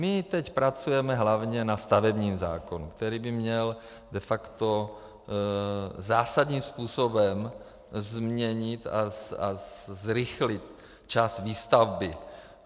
My teď pracujeme hlavně na stavebním zákonu, který by měl de facto zásadním způsobem změnit a zrychlit čas výstavby.